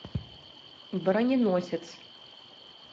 броненосец